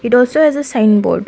and also as a sign board.